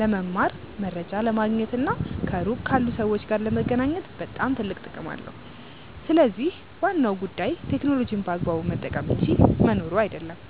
ለመማር፣ መረጃ ለማግኘት እና ከሩቅ ካሉ ሰዎች ጋር ለመገናኘት ትልቅ ጥቅም አለው። ስለዚህ ዋናው ጉዳይ ቴክኖሎጂን በአግባቡ መጠቀም እንጂ መኖሩ አይደለም።